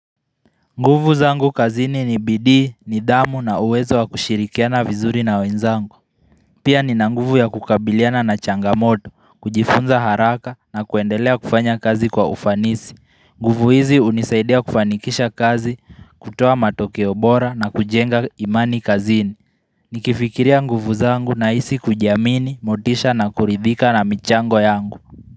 Nguvu zangu kazini ni bidii, nidhamu na uwezo wa kushirikiana vizuri na wenzangu. Pia ni na nguvu ya kukabiliana na changamoto, kujifunza haraka na kuendelea kufanya kazi kwa ufanisi. Nguvu hizi hunisaidia kufanikisha kazi, kutoa matokeo bora na kujenga imani kazini. Nikifikiria nguvu zangu ninahisi kujiamini, motisha na kuridhika na michango yangu.